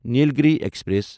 Nilgiri express